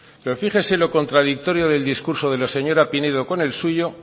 pero fíjese lo contradictorio del discurso de la señora pinedo con el suyo